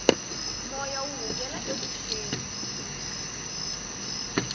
moya wu hungela evuxeni